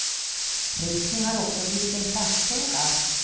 Rökning har också blivit en klassfråga.